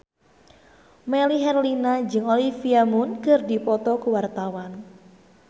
Melly Herlina jeung Olivia Munn keur dipoto ku wartawan